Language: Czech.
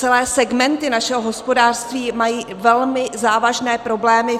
Celé segmenty našeho hospodářství mají velmi závažné problémy.